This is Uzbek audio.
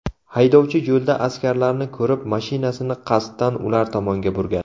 Haydovchi yo‘lda askarlarni ko‘rib, mashinasini qasddan ular tomonga burgan.